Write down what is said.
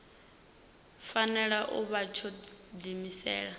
fanela u vha tsho diimisela